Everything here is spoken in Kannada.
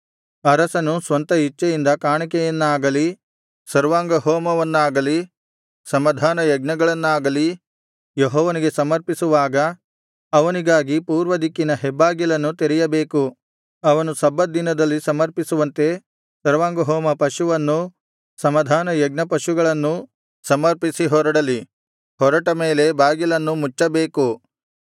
ಅರಸನು ಸ್ವಂತ ಇಚ್ಛೆಯಿಂದ ಕಾಣಿಕೆಯನ್ನಾಗಲಿ ಸರ್ವಾಂಗಹೋಮವನ್ನಾಗಲಿ ಸಮಾಧಾನ ಯಜ್ಞಗಳನ್ನಾಗಲಿ ಯೆಹೋವನಿಗೆ ಸಮರ್ಪಿಸುವಾಗ ಅವನಿಗಾಗಿ ಪೂರ್ವದಿಕ್ಕಿನ ಹೆಬ್ಬಾಗಿಲನ್ನು ತೆರೆಯಬೇಕು ಅವನು ಸಬ್ಬತ್ ದಿನದಲ್ಲಿ ಸಮರ್ಪಿಸುವಂತೆ ಸರ್ವಾಂಗಹೋಮ ಪಶುವನ್ನೂ ಸಮಾಧಾನ ಯಜ್ಞಪಶುಗಳನ್ನೂ ಸಮರ್ಪಿಸಿ ಹೊರಡಲಿ ಹೊರಟ ಮೇಲೆ ಬಾಗಿಲನ್ನು ಮುಚ್ಚಬೇಕು